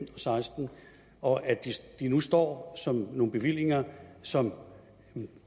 og seksten og at de nu står som nogle bevillinger som